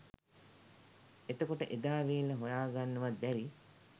එතකොට එදා වේල හොයාගන්නවත් බැරි